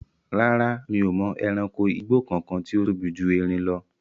Rárá, mi ò mọ ẹranko igbó kankan tí ó tóbi ju erin lọ